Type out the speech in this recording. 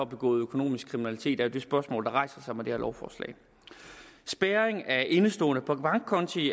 begået økonomisk kriminalitet det er det spørgsmål der rejser sig med det her lovforslag spærring af indestående på bankkonti